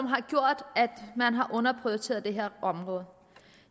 har gjort at man har underprioriteret det her område